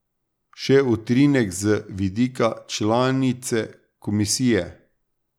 Še utrinek z vidika članice komisije.